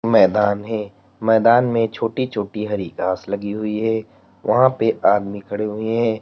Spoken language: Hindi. मैदान है मैदान में छोटी छोटी हरि घास लगी हुई है वहां पे आदमी खड़े हुए है।